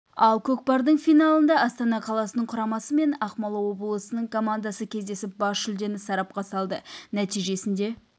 ал көкпардың финалында астана қаласының құрамасы мен ақмола облысының командасы кездесіп бас жүлдені сарапқа салды нәтижесінде